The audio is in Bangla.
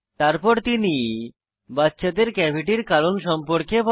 তারপর তিনি বাচ্চাদের ক্যাভিটির কারণ সম্পর্কে বলে